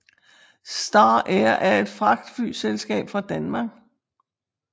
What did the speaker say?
Star Air er et fragtflyselskab fra Danmark